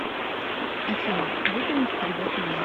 афина выполнить перевод маме